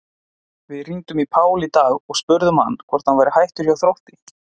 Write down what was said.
Við hringdum í Pál í dag og spurðum hann hvort hann væri hættur hjá Þrótti?